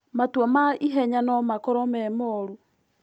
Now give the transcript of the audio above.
Matua ma ihenya no makorwo me moru.